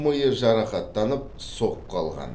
миы жарақаттанып соққы алған